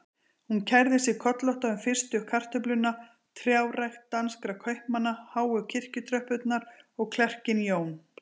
Hún kærði sig kollótta um fyrstu kartöfluna, trjárækt danskra kaupmanna, háu kirkjutröppurnar og klerkinn Jón